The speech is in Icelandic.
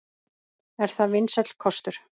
Er það vinsæll kostur?